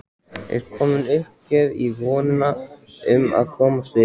Er komin uppgjöf í vonina um að komast upp?